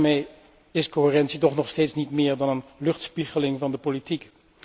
Daarmee is coherentie toch nog steeds niet meer dan een luchtspiegeling van de politiek.